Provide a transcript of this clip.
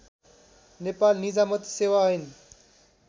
नेपाल निजामती सेवा ऐन